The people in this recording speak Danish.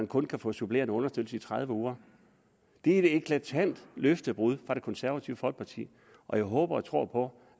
kun kan få supplerende understøttelse i tredive uger det er et eklatant løftebrud fra det konservative folkeparti og jeg håber og tror på